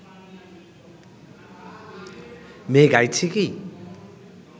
মেয়ে গাইছে কি